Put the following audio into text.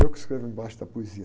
Eu que escrevo embaixo da poesia.